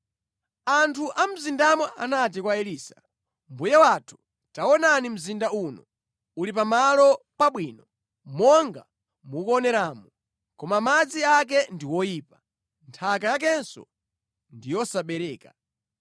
Anthu a mu mzindamo anati kwa Elisa, “Mbuye wathu, taonani mzinda uno uli pamalo pabwino, monga mukuoneramu, koma madzi ake ndi oyipa, nthaka yakenso ndi yosabereka.”